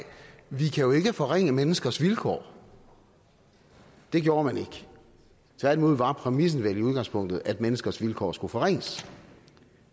vi kan jo ikke forringe menneskers vilkår det gjorde man ikke tværtimod var præmissen vel i udgangspunktet at menneskers vilkår skulle forringes